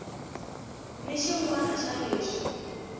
ni xin wana xa leswi